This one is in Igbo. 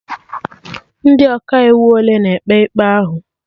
Ndị Ọkaikpe ole na-ekpe ikpe ahụ?